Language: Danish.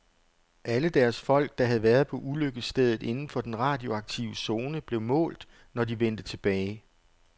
Alle deres folk, der havde været på ulykkesstedet inden for den radioaktive zone, blev målt, når de vendte tilbage.